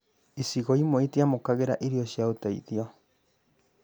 icigo imwe itiamũkĩire irio cia ũteithio